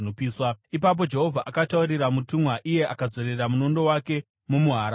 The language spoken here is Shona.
Ipapo Jehovha akataurira mutumwa iye akadzorera munondo wake mumuhara wawo.